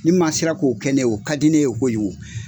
Ni maa sera k'o kɛ ne ye o ka di ne ye kojugu